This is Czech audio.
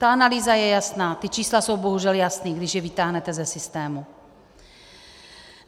Ta analýza je jasná, ta čísla jsou bohužel jasná, když je vytáhnete ze systému.